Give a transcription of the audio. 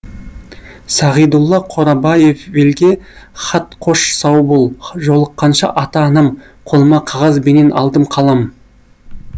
сағидулла қорабаевелге хатқош сау бол жолыққанша ата анам қолыма қағаз бенен алдым қалам